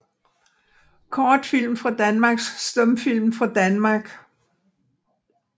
Kortfilm fra Danmark Stumfilm fra Danmark